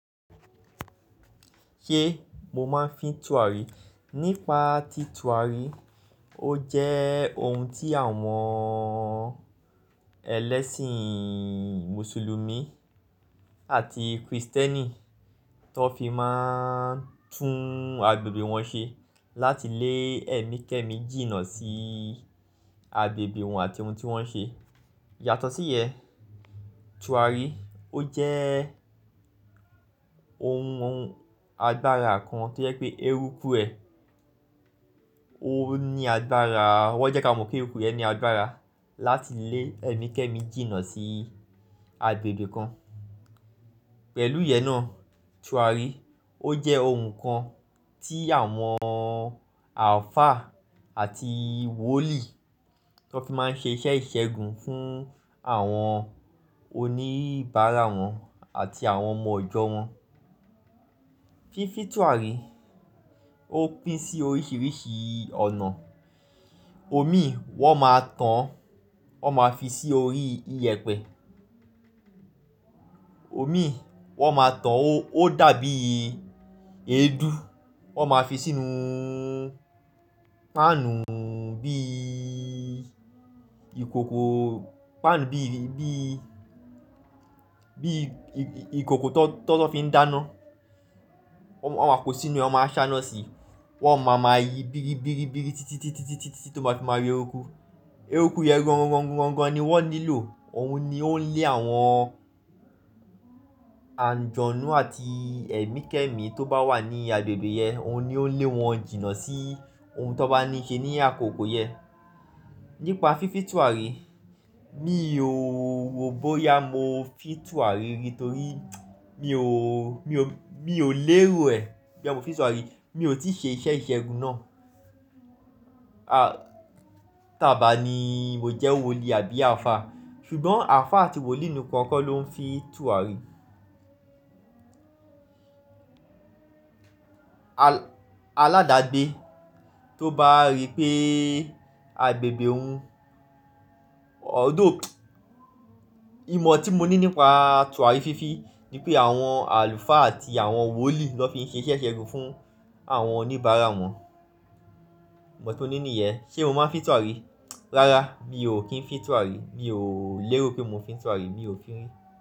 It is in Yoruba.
Ṣé mo máa ń fi tùwàrí? Nípa ti tùwàrí, ó jẹ́ ohun tí àwọn ẹlẹ́sìn Mùsùlùmí àti Kristẹni tó fi máa ń tún agbègbè wọn ṣe láti lé ẹ̀mí kẹ́ẹ̀mí jìnnà sí agbègbè wọn àti ohun tí wọ́n ń ṣe. Yàtọ̀ sí yẹn, tùwàrí ó jẹ́ ohun agbára kan tó yẹ pé eérúkú ẹ ó ní agbára. Wọ́n jẹ́ ká mọ̀ pé eérúkú yẹn ní agbára láti lé ẹ̀mí kẹ́ẹ̀mí jìnnà sí agbègbè kan. Pẹ̀lú ìyẹn náà, tùwàrí ó jẹ́ ohun kan tí àwọn àlfáà àti wòlíì tó fi máa ń ṣe iṣẹ́ ìṣẹ́gun fún àwọn oníbàárà wọn àti àwọn ọmọ ijọ́ wọn. Fífi tùwàrí ó pín sí oríṣìíríṣìí ọ̀nà. Omi wọ́n máa tán, wọ́n máa fi sí orí i yẹpẹ. Omi wọ́n máa tán ó dàbí èédú, wọ́n máa fi sínú páànù bí ìkòkò, páànù bí, bí, bí ìkòkò tó lọ́ fi ń dáná. Wọ́n máa kó sínú e, wọ́n máa ṣáná si, wọ́n máa ma yí bíri bíri bíri títí, títí, títí tó bá ti máa yo erúkú. Eérúkú yẹn gongon gongon gongon ni wọ́n nílò. Òun ni ó ń lé àwọn àǹjọ̀nú àti ẹ̀mí kẹ́ẹ̀mí tó bá wà ní agbègbè yẹn, òun ni ó ń lé wọn jìnnà sí ohun tó bá ní í ṣe ní àkókò yẹn. Nípa fífi tùwàrí, mi ò ro bóyá mo fi tùwàrí rí torí mi ò, mi ò, mi ò lérò ẹ́ boya mo fi tùwàrí. Mi ò tí ì ṣe iṣẹ́ ìṣẹ́gun náà. A tàa bà ní mo jẹ́ wòlíì àbí àlfáà. Ṣùgbọ́n àlùfáà àti wòlíì nìkan kọ́ ló ń fi tùwàrí. Aládàgbé tó bá rí pé agbègbè òun although, ìmọ̀ tí mo ní nípa tùwàrí fífi ni pé àwọn àlfáà àti àwọn wòlíì ló fi ń ṣe iṣẹ́ ìṣẹ́gun fún àwọn oníbàárà wọn. Ìmọ̀ tí mo ní nìyẹn. Ṣé mo máa ń fi tùwàrí? Rárá, mi ò kí ń fi tùwàrí. Mi ò lérò pé mo ń fi tùwàrí, mi ò fí rí.